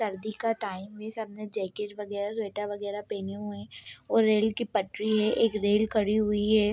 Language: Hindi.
सर्दी का टाइम में सबने जैकेट वगेरा वगेरा पहेने हुए हैं और रेल की पटरी है एक रेल खड़ी हुई है।